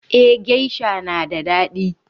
Eh geisha na da daɗi.